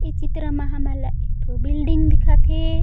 ये चित्र म हमन ला एक ठो बिल्डिंग दिखत हे।